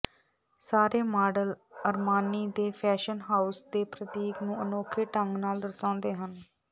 ਸਾਰੇ model Armani ਦੇ fashion house ਦੇ ਪ੍ਰਤੀਕ ਨੂੰ ਅਨੋਖੇ ਢੰਗ ਨਾਲ ਦਰਸਾਉਂਦੇ ਹਨ